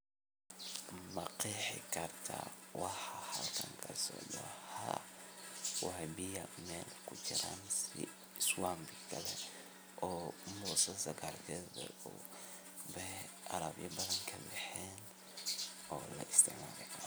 ma qeexi karto waxa halkaan ka socdo? waa biyo meel ku jiraan sida [swimming pool] oo kale oo ay dhir badan ka ag bexeen lana isticmaali karo.